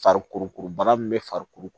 Fariko bana min bɛ farikolo ko